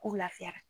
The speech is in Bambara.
Ko lafiyara